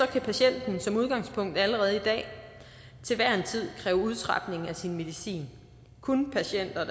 kan patienten som udgangspunkt allerede i dag til hver en tid kræve udtrapning af sin medicin kun patienter